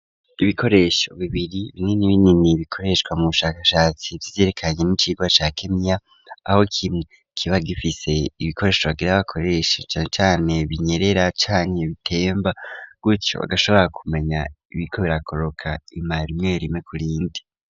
Ibikoresho bibiri binini binini bikoreshwa mu bushakashatsi vy'iyerekanye n'icigwa ca kemiya, aho kimwe kiba gifise ibikoresho bagira bakoreshe cane binyerera canke bitemba, gutyo agashobora kumenya ibiriko birakoroka ima rimwe rimwe kurindi.